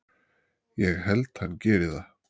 Ég held hann geri það.